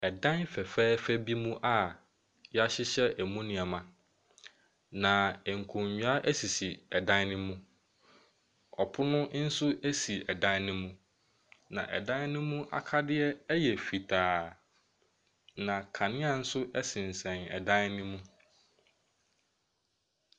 Dan fɛfɛɛfɛ bi mu a wɔahyehyɛ mu nneɛma, na nkonnwa sisi dan no mu. Ɔpono nso si dan no mu, na dan no mu akadeɛ yɛ fitaa, na kanea nso sensɛn dan no mu.